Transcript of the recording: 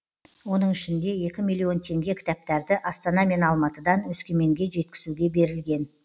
оның ішінде екі миллион теңге кітаптарды астана мен алматыдан өскеменге жеткізуге берілген